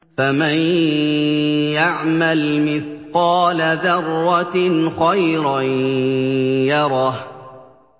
فَمَن يَعْمَلْ مِثْقَالَ ذَرَّةٍ خَيْرًا يَرَهُ